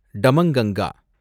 Damanganga